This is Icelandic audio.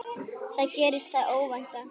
Þá gerðist það óvænta.